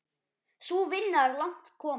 Sú vinna er langt komin.